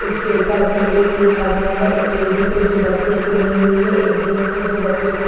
उसके ऊपर में एक लिखा गया है एक लेडीज है जो बच्चे को ली हुई है एक जेंट्स है जो बच्चे को --